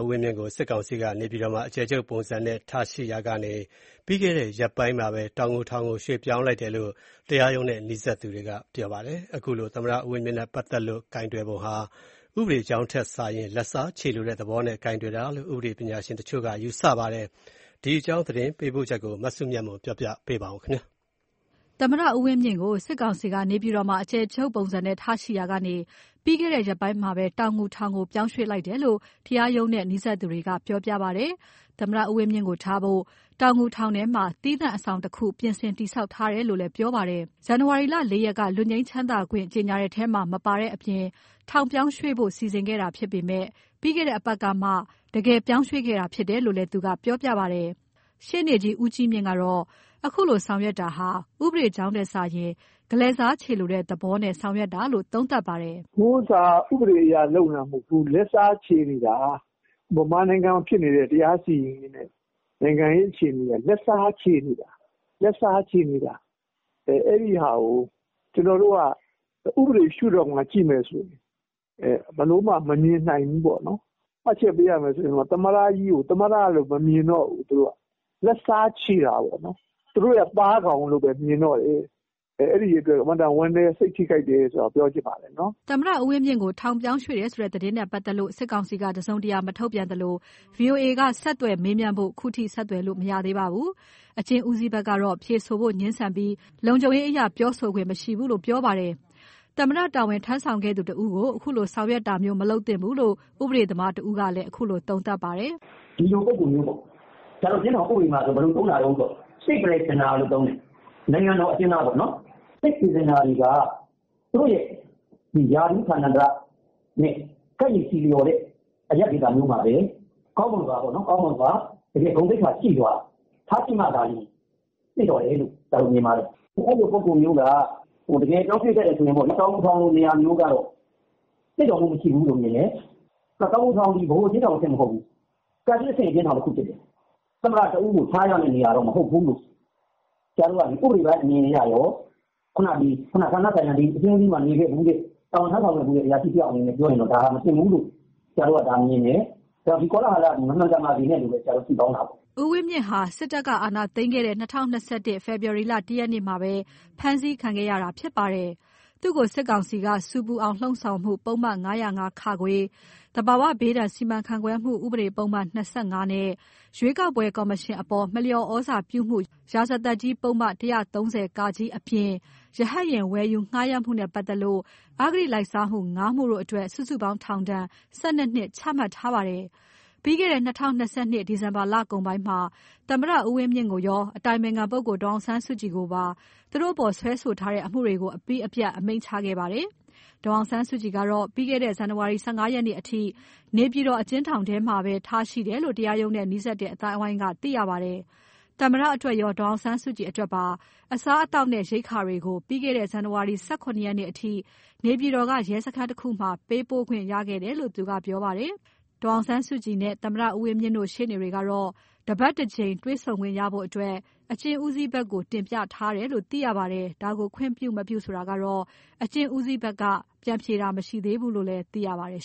ဝင်းမြင့်ကို စစ်ကောင်စီက နေပြည်တော်မှာ အကျယ်ချုပ်ပုံစံနဲ့ ထားရှိရာကနေ ပြီးခဲ့တဲ့ ရက်ပိုင်းမှာပဲ တောင်ငူထောင်ကို ရွှေ့ပြောင်းလိုက်တယ်လို့ တရားရုံးနဲ့နီးစပ်သူတွေကပြောပါတယ်။ သမ္မတဦးဝင်းမြင့်နဲ့ပါတ်သက်လို့ ကိုင်တွယ်ပုံဟာ ဥပဒေကြောင်းထက်စာရင်၊ လက်စားချေလိုတဲ့ သဘောနဲ့ကိုင်တွယ်တာလို့ ဥပဒေပညာရှင်တချို့က ယူဆပါတယ်။ ဒီအကြောင်း သတင်းပေးပို့ချက်ကို မစုမြတ်မွန်က တင်ပြထားပါတယ်။ သမ္မတဦးဝင်းမြင့်ကို စစ်ကောင်စီက နေပြည်တော်မှာ အကျယ်ချုပ်ပုံစံနဲ့ ထားရှိရာကနေ ပြီးခဲ့တဲ့ ရက်ပိုင်းမှာပဲ တောင်ငူထောင်ကို ရွှေ့ပြောင်းလိုက်တယ်လို့ တရားရုံးနဲ့နီးစပ်သူတွေကပြောပါတယ်။ သမ္မတဦးဝင်းမြင့်ကို ထားဖို့ တောင်ငူထောင်ထဲမှာ သီးသန့်အဆောက်အဦးတခု ပြင်ဆင်တည်ဆောက်ထားတယ်လို့လည်း ပြောပါတယ်။ ဇန်နဝါရီ ၄ ရက်က လွတ်ငြိမ်းခွင့်ကြေငြာတဲ့ထဲမှာ မပါတဲ့အပြင် ထောင်ပြောင်းရွှေ့ဖို့စီစဉ်ခဲ့တာဖြစ်ပေမယ့်၊ ပြီးခဲ့တဲ့ အပတ်ကမှ ပြောင်းရွှေ့ခဲ့တာဖြစ်တယ်လို့ သူကပြောပါတယ်။ ရှေနေကြီး ဦးကြီးမြင့်ကတော့ အခုလို ဆောင်ရွက်တာဟာ ဥပဒေကြောင်းထက်စာရင် လက်စားချေလိုတဲ့သဘောနဲ့ ဆောင်ရွက်တာလို့ သုံးသပ်ပါတယ်။ "အခုဟာ ဥပဒေအရလုပ်နေတာ မဟုတ်ဘူး။ လက်စားချေနေတာ။ မြန်မာနိုင်ငံမှာဖြစ်နေတဲ့ တရားစီရင်ရေးနဲ့ နိုင်ငံရေးအခြေအနေဟာ လက်စားချေနေတာ။ အဲဒါကို ကျွန်တော်တို့က ဥပဒေရှုဒေါင့်ကကြည့်မယ်ဆိုရင် ဘယ်လိုမှမမြင်နိုင်ဘူးပေါ့နော်။ မှတ်ချက်ပေးရမယ်ဆိုရင်တော့ သမ္မတကြီးကို သမ္မတလို့ သူတို့ မမြင်တော့ဘူး။ လက်စားချေတာပေါ့နော်။ သူတို့ရဲ့ သားကောင်လို့ပဲမြင်တော့တယ်။ အဲဒီအတွက် အင်မတန်ဝမ်းနည်း၊ စိတ်ထိခိုက်တယ်ဆိုတာပြောချင်ပါတယ်နော်။" သမ္မတဦးဝင်းမြင့်ကို ထောင်ပြောင်းရွှေ့တယ်ဆိုတဲ့ သတင်းနဲ့ပါတ်သက်လို့ စစ်ကောင်စီက တစုံတရာ မထုတ်ပြန်သလို ဗွီအိုအေက ဆက်သွယ်မေးမြန်းဖို့ ခုထိ ဆက်သွယ်လို့ မရသေးပါဘူး။ အကျဉ်းဦးစီးဘက်ကတော့ဖြေဆိုဖို့ငြင်းဆန်ပြီး လုံခြုံရေးအရပြောဆိုခွင့်မရှိကြောင်းပြောပါတယ်။ သမ္မတတာဝန်ထမ်းဆောင်ခဲ့သူတဦးကို အခုလို ဆောင်ရွက်တာမျိုး မလုပ်သင့်ဘူးလို့ ဥပဒေသမားတဦးကလည်း အခုလို သုံးသပ်ပါတယ်။ "ဒီလိုပုဂ္ဂိုလ်မျိုးပေါ့။ ဆရာတို့ အကျဉ်းထောင်ဥပဒေမှာဆိုရင်ဘယ်လိုသုံးတာလဲဆိုတော့ State Prisoner လို့ သုံးတယ်။ နိုင်ငံတော်အကျဉ်းသားပေါ့နော်။ State Prisoner တွေက သူတို့ရာထူးဌာနန္တရနဲ့ ကိုက်ညီဆီလျော်တဲ့ အရပ်ဒေသမျိုးမှာပဲ ကောင်းမွန်စွာ ဂုဏ်သရေရှိစွာ ထားရှိမှသာလျင် သင့်တော်လို့ ဆရာတို့မြင်ပါတယ်။ အဲလိုပုဂ္ဂိုလ်မျိုးက တကယ်ပြောင်းဖြစ်ခဲ့တယ်ဆိုရင် တော်ရုံတန်ရုံနေရာမျိုးကတော့ သင့်တော်မှုမရှိဘူးလို့မြင်တယ်။ တောင်ငူထောင်သည် ဗဟိုအကျဉ်းထောင်အဆင့်မဟုတ်ဘူး။ တိုင်းအဆင့်အကျဉ်းထောင်တခုဖြစ်တယ်။ သမ္မတတဦးကိုထားရမယ့် နေရာတခုတော့ မဟုတ်ဘူးလို့ ဆရာတို့က ဥပဒေကြောင်းအနေနဲ့ရော၊ ဌာနဆိုင်ရာ အကျဉ်းဦးစီးမှာတာဝန်ထမ်းဆောင်ခဲ့ဖူးတဲ့ အရာရှိတယောက်အနေနဲ့ပြောရင် ဒါဟာ မသင့်ဘူးလို့ မြင်တယ်။ ဒီကောလဟာလသည် မမှန်ကန်ပါစေနဲ့လို့ပဲ ဆုတောင်းပါတယ်။" ဦးဝင်းမြင့်ဟာ စစ်တပ်က အာဏာသိမ်းခဲ့တဲ့ ၂၀၂၁ ခုနှစ် ဖေဖော်ဝါရီ ၁ ရက်နေ့မှာပဲ ဖမ်းဆီးခံထားရတာဖြစ်ပါတယ်။ သူ့ကို စစ်ကောင်စီက ဆူပူအောင် လှုံ့ဆော်မှု ပုဒ်မ ၅၀၅ ၊ သဘာဝဘေးစီမံခန့်ခွဲမှုဥပဒေပုဒ်မ ၂၅ နဲ့ ရွေးကောက်ပွဲကော်မရှင်အပေါ်မလျော်သြဇာပြုမှု ရာဇသတ်ကြီးပုဒ်မ ၁၃၀ အပြင် ရဟတ်ယာဉ်ဝယ်ယူငှားရမ်းမှုနဲ့ပတ်သက်လို့ အဂတိလိုက်စားမှု ၅ မှုတို့အတွက် စုစုပေါင်း ထောင်ဒဏ် ၁၂ နှစ် ချမှတ်ထားပါတယ်။ ပြီးခဲ့တဲ့နှစ် ၂၀၂၂ ခုနှစ်၊ ဒီဇင်ဘာလကုန်ပိုင်းမှာ သမ္မတကိုရော အတိုင်ပင်ခံပုဂ္ဂိုလ် ဒေါ်အောင်ဆန်းစုကြည်ကိုပါ စွဲဆိုထားတဲ့ အမှုတွေ အပြီးအပြတ် အမိန့်ချမှတ်ခဲ့ပါတယ်။ ဒေါ်အောင်ဆန်းစုကြည်ကတော့ ပြီးခဲ့တဲ့ ဇန်နဝါရီ ၁၅ ရက်နေ့အထိနေပြည်တော် အကျဉ်းထောင်အတွင်းမှာဘဲထားရှိထားတယ်လို့ တရားရုံးနဲ့နီးစပ်တဲ့အသိုင်းအဝိုင်းကပြောပါတယ်။ သမ္မတအတွက်ရော ဒေါ်အောင်ဆန်းစုကြည်အတွက်ပါ အစားအသောက်နဲ့ရိက္ခာတွေကို ပြီးခဲ့တဲ့ ဇန်နဝါရီ ၁၇ ရက်နေ့ကထိ နေပြည်တော်က ရဲစခန်းတစ်ခုမှာ ပေးပို့ခွင့်ရခဲ့တယ်လို့ သူကပြောပါတယ်။ ဒေါ်အောင်ဆန်းစုကြည်နဲ့သမ္မတဦးဝင်းမြင့်တို့ ရှေ့နေတွေကတော့ တပတ် တကြိမ်တွေ့ခွင့်ရဖို့ အကျဉ်းဦးစီးဘက်ကိုတင်ပြထားတယ်လို့သိရပါတယ်။ ဒါကိုခွင့်ပြု မပြုကိုအကျဉ်းဦးစီးဌာနဘက်က ပြန်ဖြေတာမရှိသေးဘူးလို့သိရပါတယ်